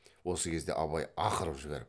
осы кезде абай ақырып жіберіп